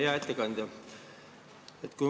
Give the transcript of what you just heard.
Hea ettekandja!